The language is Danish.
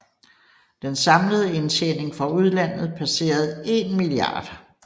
Den samlede indtjening fra udlandet passerede 1 mia